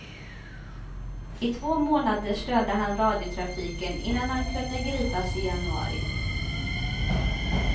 I två månader störde han radiotrafiken innan han kunde gripas i januari.